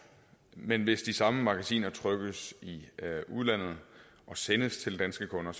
men hvis de samme magasiner trykkes i udlandet og sendes til danske kunder